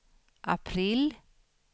april